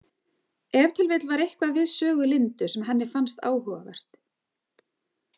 Ef til vill var eitthvað við sögu Lindu sem henni fannst áhugavert.